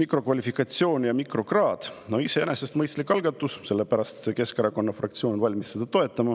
mikrokvalifikatsioon ja mikrokraad –, siis iseenesest on see mõistlik algatus, sellepärast on Keskerakonna fraktsioon valmis seda toetama.